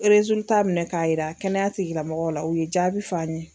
minɛ k'a yira kɛnɛya tigilamɔgɔw la, u ye jaabi f'an ye.